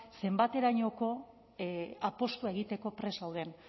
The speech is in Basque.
zenbaterainoko apustua egiteko prest gauden